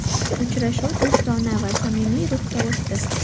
Uchrashuv do‘stona va samimiy ruhda o‘tdi.